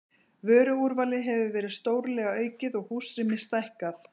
Vöruúrvalið hefur verið stórlega aukið og húsrými stækkað.